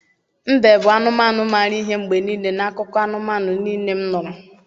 mbe bụ anụmanụ maara ihe mgbe niile n’akụkọ anụmanụ niile m nụrụ.